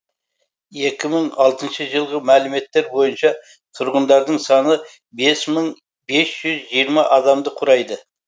екі мың алтыншы жылғы мәліметтер бойынша тұрғындардың саны бес мың бес жүз жиырма адамды құрайды